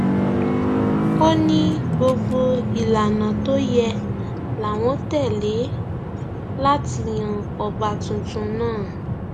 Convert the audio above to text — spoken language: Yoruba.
ó ní gbogbo ìlànà tó yẹ láwọn tẹlẹ láti yan ọba tuntun náà